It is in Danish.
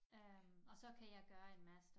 Øh og så kan jeg gøre en master